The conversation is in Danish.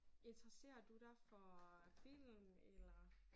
Interesserer du dig for film eller